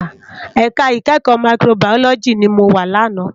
Èká ikèékò Máyikróbàyólòjí ni mó wá làná